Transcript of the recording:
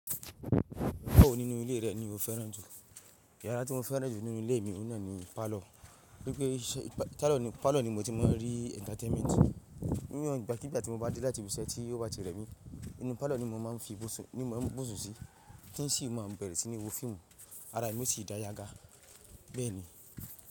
Mo fẹ nínú ilé rẹ̀ ni mo fẹ́ràn jù. Yàrá tí mo fẹ́ràn jù nínú ilé mi yii náà ni parlour. Nípe parlour ni mo ti máa ń rí entertainment. Ní ìgbàkígbà tí mo bá dé láti iṣẹ́ tí ó bá jẹ́rè mi, inú parlour ni mo máa ń fi búṣú sí tí n sì má bẹ̀rẹ̀ sí ní wo fíìmù ará mi yo sì dá yaga bẹ́ẹ̀ ni.